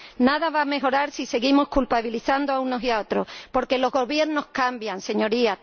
Nada va a mejorar si seguimos culpabilizando a unos y a otros, porque los Gobiernos cambian, señorías.